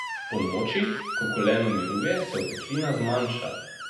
Ponoči, ko koleno miruje, se oteklina zmanjša.